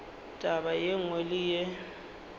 taba ye nngwe le ye